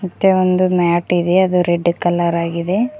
ಮತ್ತೆ ಒಂದು ಮ್ಯಾಟ್ ಇದೆ ಅದು ರೆಡ್ ಕಲರ್ ಆಗಿದೆ.